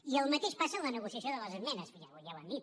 i el mateix passa amb la negociació de les esmenes ja ho hem dit